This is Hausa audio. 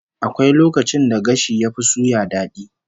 Akwai lokacin da gashi yafi suya dadi